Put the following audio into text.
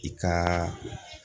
I ka'a